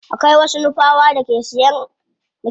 Akwai wasu nupawa da ke siyar da ayaba a hanyar jabi.